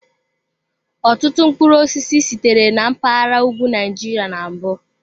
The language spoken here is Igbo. Ọtụtụ mkpụrụ osisi sitere na mpaghara ugwu Nigeria na mbụ.